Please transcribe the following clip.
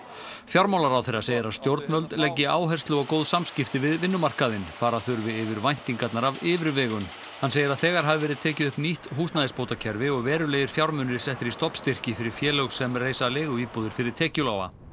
fjármálaráðherra segir að stjórnvöld leggi áherslu á góð samskipti við vinnumarkaðinn fara þurfi yfir væntingarnar af yfirvegun hann segir að þegar hafi verið tekið upp nýtt húsnæðisbótakerfi og verulegir fjármunir settir í stofnstyrki fyrir félög sem reisa leiguíbúðir fyrir tekjulága